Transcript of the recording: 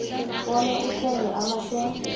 bona uthenga amashare